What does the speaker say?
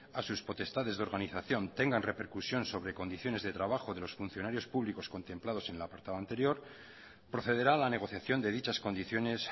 a sus potestades de organización tengan repercusión sobre condiciones de trabajo de los funcionarios públicos contemplados en el apartado anterior procederá a la negociación de dichas condiciones